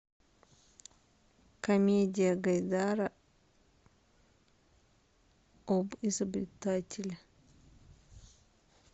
комедия гайдара об изобретателе